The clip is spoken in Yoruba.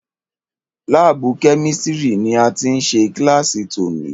Lábùù Kẹ́místrì ni a ti ṣe kílàsì tòní.